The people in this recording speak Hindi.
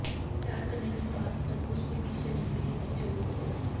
तैयार करने के लिए मास्क तरबूज के बीज लेने के लिए की जरूरत है